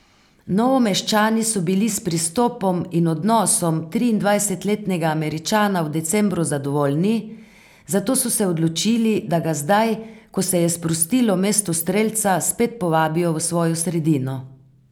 Novomeščani so bili s pristopom in odnosom triindvajsetletnega Američana v decembru zadovoljni, zato so se odločili, da ga zdaj, ko se je sprostilo mesto strelca, spet povabijo v svojo sredino.